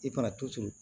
I fana tu tu